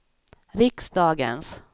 riksdagens